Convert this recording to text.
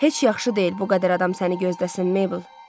Heç yaxşı deyil, bu qədər adam səni gözləsin, Maybel.